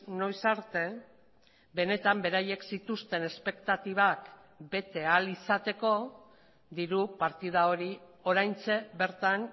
noiz arte benetan beraiek zituzten espektatibak bete ahal izateko diru partida hori oraintxe bertan